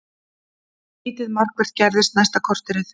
Lítið markvert gerðist næsta korterið.